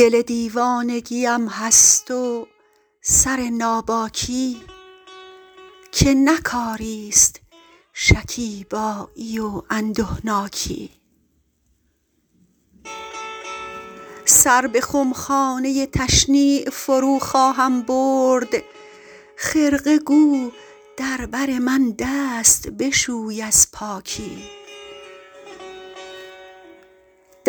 دل دیوانگی ام هست و سر ناباکی که نه کاری ست شکیبایی و اندهناکی سر به خمخانه تشنیع فرو خواهم برد خرقه گو در بر من دست بشوی از پاکی